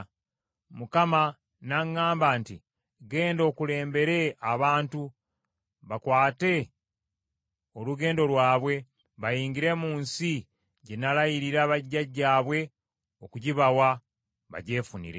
Mukama n’aŋŋamba nti, “Genda okulembere abantu, bakwate olugendo lwabwe, bayingire mu nsi gye nalayirira bajjajjaabwe okugibawa, bagyefunire.”